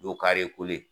Dow kareko ye